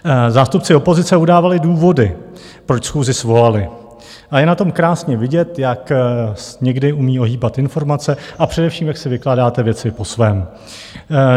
Zástupci opozice udávali důvody, proč schůzi svolali, a je na tom krásně vidět, jak někdy umí ohýbat informace a především jak si vykládáte věci po svém.